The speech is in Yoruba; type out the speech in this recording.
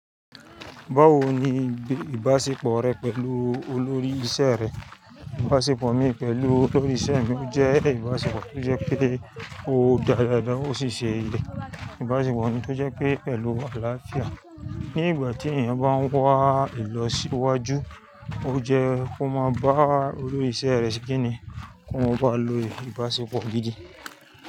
Báwo ni ìbáṣepọ̀ rẹ pẹ̀lú olórí iṣẹ́ rẹ? Ìbáṣepọ̀ mi pẹ̀lú olórí iṣẹ́ mi jẹ́ ìbáṣepọ̀ tó jẹ́ pé ó dáradára, ó sì ṣe ìlẹ̀. Ìbáṣepọ̀ ni tó jẹ́ pé pẹ̀lú àlàáfíà. Ni ìgbà tí èèyàn bá ń wá ìlọsíwájú, ó jẹ́ kó máa bá olórí iṣẹ́ rẹ ṣẹ́ kíni, kí wọ́n ba lè lo ìbáṣepọ̀ gidi.